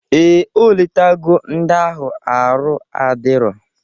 Ee, o letago ndi ahụ arụ adiro